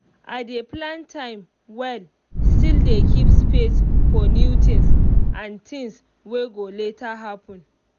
i dey plan time well still dey keep space for new things and things wey go later happen.